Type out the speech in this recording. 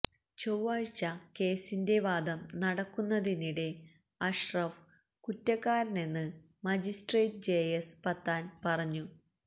ചൊവ്വാഴ്ച കേസിന്റെ വാദം നടക്കുന്നതിനിടെ അഷ്റഫ് കുറ്റക്കാരനെന്ന് മജിസ്ട്രേറ്റ് ജെ എസ് പത്താന് പറഞ്ഞു